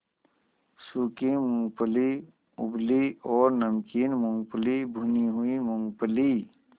सूखी मूँगफली उबली और नमकीन मूँगफली भुनी हुई मूँगफली